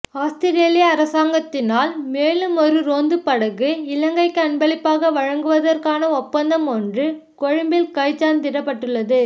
Australia அரசாங்கத்தினால் மேலுமொரு ரோந்து படகு இலங்கைக்கு அன்பளிப்பாக வழங்குவதற்கான ஒப்பந்தம் ஒன்று கொழும்பில் கைச்சாத்திடப்பட்டுள்ளது